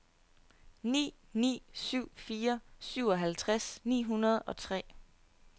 ni ni syv fire syvoghalvtreds ni hundrede og tre